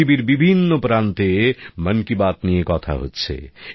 পৃথিবীর বিভিন্ন প্রান্তে মন কি বাত নিয়ে কথা হচ্ছে